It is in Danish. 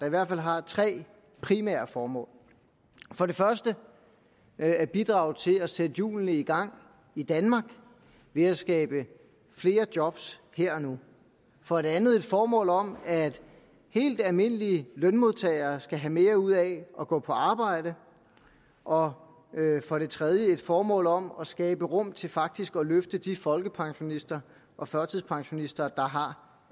i hvert fald har tre primære formål for det første at bidrage til at sætte hjulene i gang i danmark ved at skabe flere job her og nu for det andet et formål om at helt almindelige lønmodtagere skal have mere ud af at gå på arbejde og for det tredje et formål om at skabe rum til faktisk at løfte de folkepensionister og førtidspensionister der har